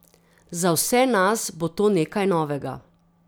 Za vse nas bo to nekaj novega.